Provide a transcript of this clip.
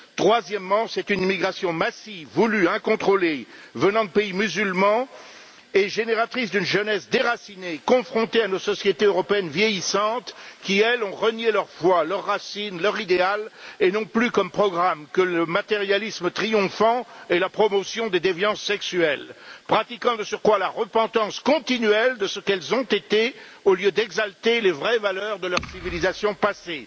Troisièmement, c'est une immigration massive, voulue, incontrôlée, venant de pays musulmans et génératrice d'une jeunesse déracinée, confrontée à nos sociétés européennes vieillissantes qui, elles, ont renié leur foi, leurs racines, leur idéal. Elles n'ont plus comme programme que le matérialisme triomphant et la promotion des déviances sexuelles, pratiquant de surcroît la repentance continuelle de ce qu'elles ont été, au lieu d'exalter les vraies valeurs de leur civilisation passée.